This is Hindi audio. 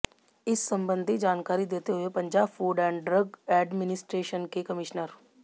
इस संबंधी जानकारी देते हुए Punjab food and drug administration के कमिश्नर